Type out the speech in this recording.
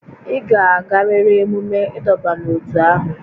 Ị ga-agarịrị emume ịdọba n'ótú ahụ!